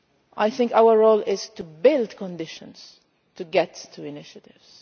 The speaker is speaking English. all. I think our role is to build conditions to get to initiatives.